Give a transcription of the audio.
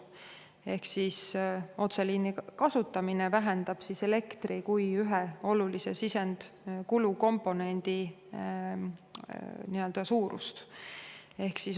Ehk otseliini kasutamine vähendab elektri kui ühe olulise sisendkulu komponendi suurust.